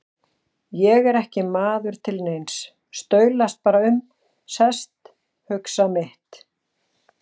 Ég er ekki maður til neins, staulast bara um, sest, hugsa mitt.